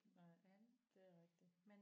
Nej det er rigtigt